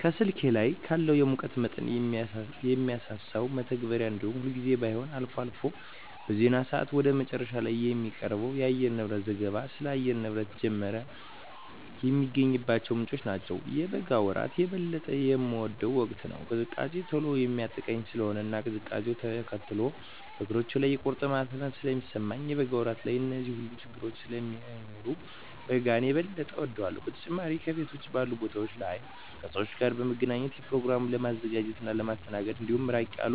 ከስልኬ ላይ ካለው የሙቀት መጠንን ከሚያሳሰው መተግበሪያ እንዲሁም ሁልጊዜም ባይሆን አልፎ አልፎ በዜና ሰአት ወደ መጨረሻ ላይ ከሚቀርበው የአየርንብረት ዘገባ ስለ አየር ንብረት ጀመረ የሚገኝባቸው ምንጮች ናቸው። የበጋ ወራት የበለጠ የምወደው ወቅት ነው። ቅዝቃዜ ቶሎ የሚያጠቃኝ ስለሆነ እና ቅዝቃዜውነ ተከትሎ በእግሮቼ ላይ የቁርጥማት ህመም ስለሚሰማኝ የበጋ ወራት ላይ እነዚህ ሁሉ ችግረኞች ስለማይኖሩ በጋን የበጠ እወዳለሁ። በተጨማሪም ከቤት ውጭ ባሉ ቦታወች ላይ ከሰወች ጋር ለመገናኘት፣ በኘሮግራሞችን ለማዘጋጀት እና ለማስተናገድ እንዲሁም ራቅ ያሉ